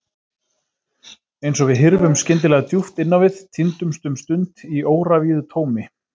Eins og við hyrfum skyndilega djúpt inn á við, týndumst um stund í óravíðu tómi.